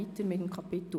Abstimmung